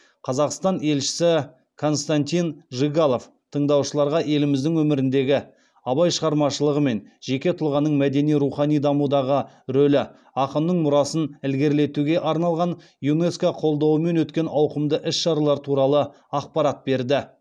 қазақстан елшісі константин жигалов тыңдаушыларға еліміздің өміріндегі абай шығармашылығы мен жеке тұлғаның мәдени рухани дамудағы рөлі ақынның мұрасын ілгерілетуге арналған юнеско қолдауымен өткен ауқымды іс шаралар туралы ақпарат берді